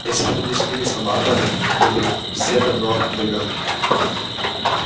если бы мы не женились на маглах мы бы все давно вымерли